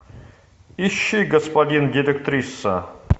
ищи господин директриса